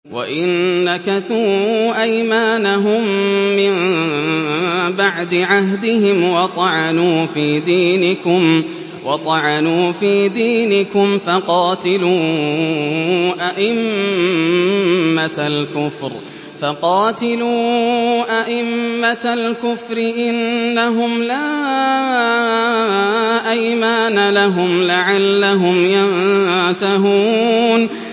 وَإِن نَّكَثُوا أَيْمَانَهُم مِّن بَعْدِ عَهْدِهِمْ وَطَعَنُوا فِي دِينِكُمْ فَقَاتِلُوا أَئِمَّةَ الْكُفْرِ ۙ إِنَّهُمْ لَا أَيْمَانَ لَهُمْ لَعَلَّهُمْ يَنتَهُونَ